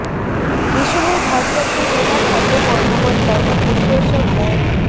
এ সময় ভারপ্রাপ্ত জেলা খাদ্য কর্মকর্তা ও পরিদর্শক মো